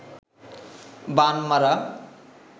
বান মারা